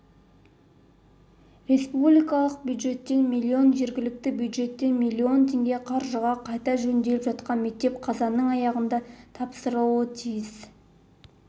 республикалық бюджеттен миллион жергілікті бюджеттен миллион теңге қаржыға қайта жөнделіп жатқан мектеп қазанның аяғында тапсырылуы тиіс